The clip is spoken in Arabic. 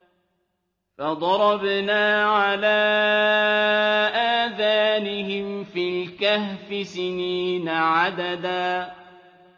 فَضَرَبْنَا عَلَىٰ آذَانِهِمْ فِي الْكَهْفِ سِنِينَ عَدَدًا